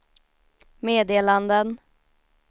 meddelanden